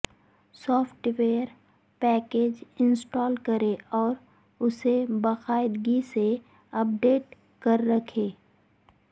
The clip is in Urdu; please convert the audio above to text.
سوفٹ ویئر پیکج انسٹال کریں اور اسے باقاعدگی سے اپ ڈیٹ کر رکھیں